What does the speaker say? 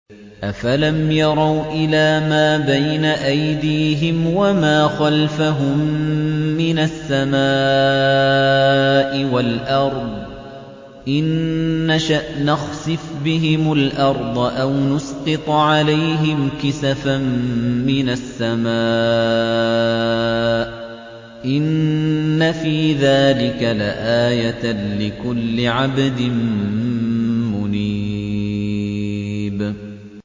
أَفَلَمْ يَرَوْا إِلَىٰ مَا بَيْنَ أَيْدِيهِمْ وَمَا خَلْفَهُم مِّنَ السَّمَاءِ وَالْأَرْضِ ۚ إِن نَّشَأْ نَخْسِفْ بِهِمُ الْأَرْضَ أَوْ نُسْقِطْ عَلَيْهِمْ كِسَفًا مِّنَ السَّمَاءِ ۚ إِنَّ فِي ذَٰلِكَ لَآيَةً لِّكُلِّ عَبْدٍ مُّنِيبٍ